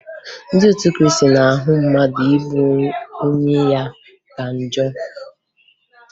Ndị otu Kriisti na-ahụ mmadụ igbu onwe ya ka njọ